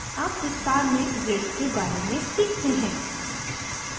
अब विस्तार में grids के बारे में सीखते हैं